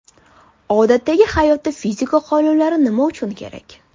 Odatdagi hayotda fizika qonunlari nima uchun kerak?.